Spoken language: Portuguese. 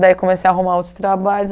Daí comecei a arrumar outros trabalhos.